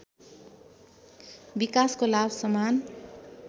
विकासको लाभ समान